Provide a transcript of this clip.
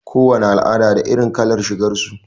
Ko wace al'ada da irin kalar shigar su.